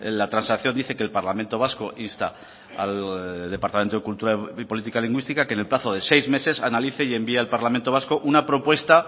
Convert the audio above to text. la transacción dice que el parlamento vasco insta al departamento de cultura y política lingüística que en el plazo de seis meses analice y envíe al parlamento vasco una propuesta